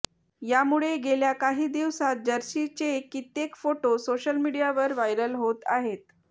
यामुळे गेल्या काही दिवसात जर्सीचे कित्येक फोटो सोशल मीडियावर व्हायरल होत आहेत